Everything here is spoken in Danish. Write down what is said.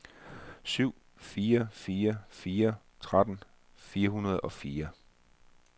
syv fire fire fire tretten fire hundrede og fire